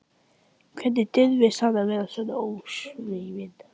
Hvernig dirfist hann að vera svona ósvífinn?